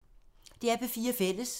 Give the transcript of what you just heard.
DR P4 Fælles